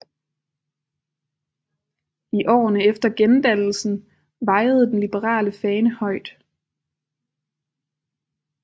I årene efter gendannelsen vajede den liberale fane højt